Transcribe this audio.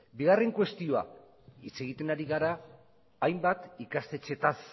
bigarren kuestioa hitz egiten ari gara hainbat ikastetxeetaz